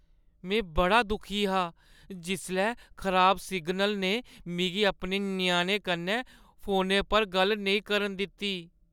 में बड़ा दुखी हा जिसलै खराब सिग्नल ने मिगी अपने ञ्याणें कन्नै फोनै पर गल्ल नेईं करन दित्ती।